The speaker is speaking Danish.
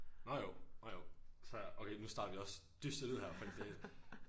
Nåh jo nåh jo så okay nu starter vi også dystert ud her fordi det